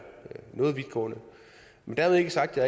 noget vidtgående men dermed ikke sagt at